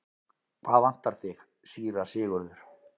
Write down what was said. Hvað vantar þig, síra Sigurður?